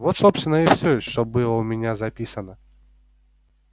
вот собственно и всё что было у меня записано